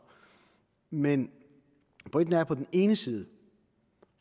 men pointen er at på den ene side